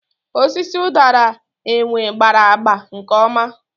Osisi ụdara enwe gbara agba nkeoma.